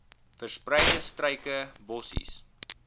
verspreide struike bossies